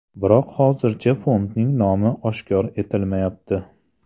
Biroq hozircha fondning nomi oshkor etilmayapti.